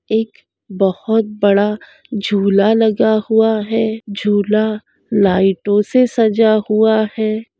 एक बहुत बड़ा झूला लगा हुआ है झूला लाइटो से सजा हुआ है।